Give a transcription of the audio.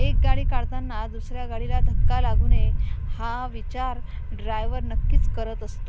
एक गाडी काढताना दुसऱ्या गाडीला धक्का लागू नये हा विचार ड्रायव्हर नक्कीच करत असतो.